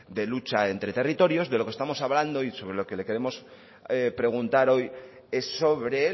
de lucha entre territorios de lo que estamos hablando y sobre lo que le queremos preguntar hoy es sobre